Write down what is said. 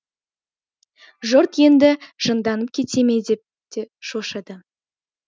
жұрт енді оны жынданып кете ме деп те шошыды